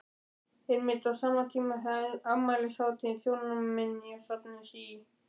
Einmitt á sama tíma er afmælishátíð Þjóðminjasafnsins í